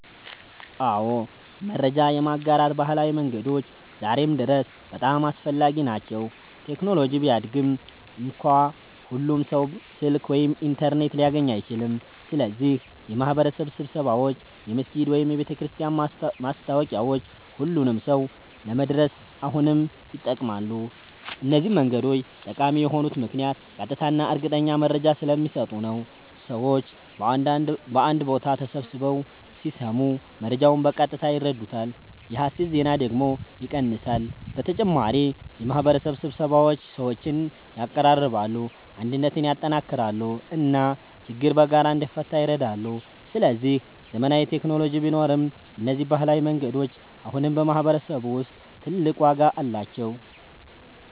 አዎ፣ መረጃ የማጋራት ባህላዊ መንገዶች ዛሬም ድረስ በጣም አስፈላጊ ናቸው። ቴክኖሎጂ ቢያድግም እንኳ ሁሉም ሰው ስልክ ወይም ኢንተርኔት ሊያገኝ አይችልም። ስለዚህ የማህበረሰብ ስብሰባዎች፣ የመስጊድ ወይም የቤተክርስቲያን ማስታወቂያዎች ሁሉንም ሰው ለመድረስ አሁንም ይጠቅማሉ። እነዚህ መንገዶች ጠቃሚ የሆኑት ምክንያት ቀጥታ እና እርግጠኛ መረጃ ስለሚሰጡ ነው። ሰዎች በአንድ ቦታ ተሰብስበው ሲሰሙ መረጃውን በቀጥታ ይረዱታል፣ የሐሰት ዜና ደግሞ ይቀንሳል። በተጨማሪ የማህበረሰብ ስብሰባዎች ሰዎችን ያቀራርባሉ፣ አንድነትን ያጠናክራሉ እና ችግር በጋራ እንዲፈታ ይረዳሉ። ስለዚህ ዘመናዊ ቴክኖሎጂ ቢኖርም እነዚህ ባህላዊ መንገዶች አሁንም በማህበረሰብ ውስጥ ትልቅ ዋጋ አላቸው።